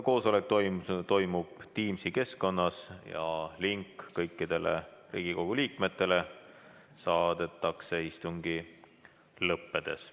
Koosolek toimub Teamsi keskkonnas ja link kõikidele Riigikogu liikmetele saadetakse istungi lõppedes.